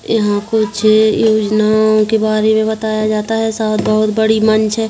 यहाँ कुछ योजनाओं के बारे मे बताया जाता है शायद बहुत बड़ी मंच है।